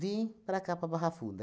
Vim para cá, para a Barra Funda.